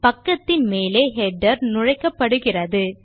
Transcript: பக்கத்தின் மேலே ஹெடர் உள்நுழைப்படுகிறது